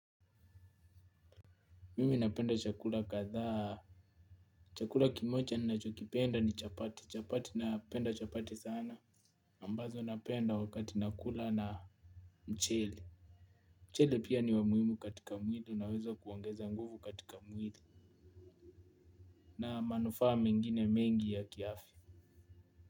Mimi napenda chakula kathaa chakula kimocha nachokipenda ni chapati chapati napenda chapati sana ambazo napenda wakati nakula na mchele. Mchele pia ni wamuhimu katika mwili unawezo kwongeza nguvu katika mwili na manufaa mengine mengi ya kiafya.